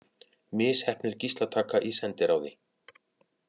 Misheppnuð gíslataka í sendiráði